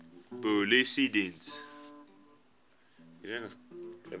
polisiediens